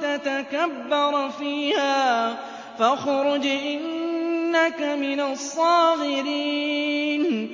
تَتَكَبَّرَ فِيهَا فَاخْرُجْ إِنَّكَ مِنَ الصَّاغِرِينَ